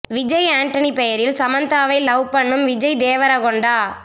விஜய் ஆண்டனி பெயரில் சமந்தாவை லவ் பண்ணும் விஜய் தேவரகொண்டா